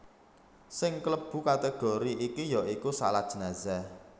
Sing klebu kategori iki ya iku shalat jenazah